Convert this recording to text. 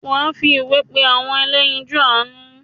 wà á fi ìwé pé “ àwọn ẹlẹ́yinjún àánú ”?